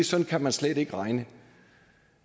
sådan kan man slet ikke regne